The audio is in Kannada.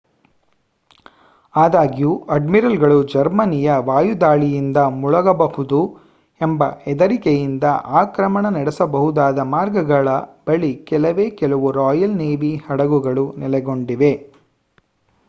ಆದಾಗ್ಯೂ ಅಡ್ಮಿರಲ್‌ಗಳು ಜರ್ಮನಿಯ ವಾಯುದಾಳಿಯಿಂದ ಮುಳುಗಬಹುದು ಎಂಬ ಹೆದರಿಕೆಯಿಂದ ಆಕ್ರಮಣ ನಡೆಸಬಹುದಾದ ಮಾರ್ಗಗಳ ಬಳಿ ಕೆಲವೇ ಕೆಲವು ರಾಯಲ್ ನೇವಿ ಹಡಗುಗಳು ನೆಲೆಗೊಂಡಿವೆ